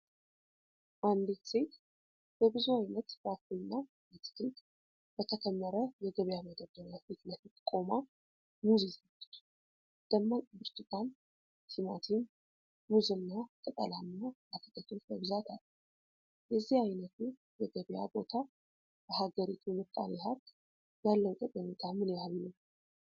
አንዲት ሴት በብዙ ዓይነት ፍራፍሬና አትክልት በተከመረ የገበያ መደርደሪያ ፊት ለፊት ቆማ ሙዝ ይዛለች። ደማቅ ብርቱካን፣ ቲማቲም፣ ሙዝና ቅጠላማ አትክልቶች በብዛት አሉ። የዚህ አይነቱ የገበያ ቦታ ለሀገሪቱ ምጣኔ ሀብት ያለው ጠቀሜታ ምን ያህል ነው?